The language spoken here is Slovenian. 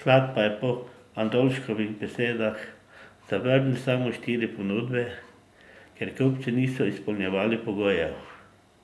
sklad pa je po Andoljškovih besedah zavrnil samo štiri ponudbe, ker kupci niso izpolnjevali pogojev.